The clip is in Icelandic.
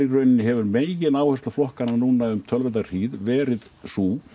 hefur megináhersla flokkana núna um töluverða hríð verið sú